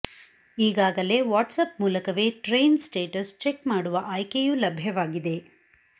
ಈಗಾಗಲೇ ವಾಟ್ಸ್ಆಪ್ ಮೂಲಕವೇ train status check ಮಾಡುವ ಆಯ್ಕೆಯೂ ಲಭ್ಯವಾಗಿದೆ